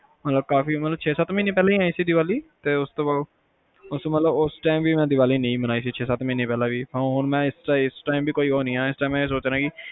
ਹੁਣ ਛੇ ਸੱਤ ਮਹੀਨੇ ਪਹਿਲਾ ਹੀ ਆਈ ਸੀ ਦੀਵਾਲੀ? ਤੇ ਉਸ time ਵੀ ਮੈਂ ਦੀਵਾਲੀ ਨਹੀਂ ਮਨਾਈ ਸੀ ਇਸ time ਵੀ ਮੈਂ ਸੋਚ ਰਿਹਾ ਕੇ